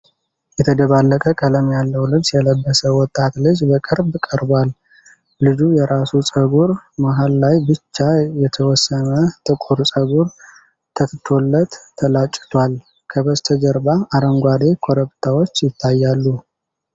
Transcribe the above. የተደባለቀ ቀለም ያለው ልብስ የለበሰ ወጣት ልጅ በቅርብ ቀርቧል። ልጁ የራስ ፀጉሩ መሃል ላይ ብቻ የተወሰነ ጥቁር ፀጉር ተትቶለት ተላጭቷል። ከበስተጀርባ አረንጓዴ ኮረብታዎች ይታያሉ።